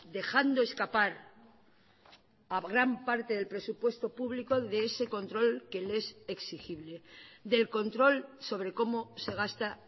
dejando escapar a gran parte del presupuesto público de ese control que le es exigible del control sobre cómo se gasta